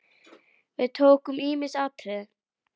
Við tókum ýmis atriði.